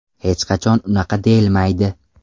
Hech qachon unaqa deyilmaydi.